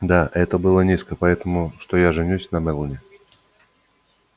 да это было низко поэтому что я женюсь на мелани